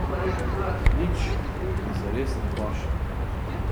Nič mi zares ne paše.